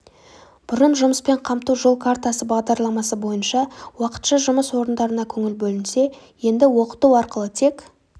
бұрын жұмыспен қамту жол картасы бағдарламасы бойынша уақытша жұмыс орындарына көңіл бөлінсе енді оқыту арқылы тек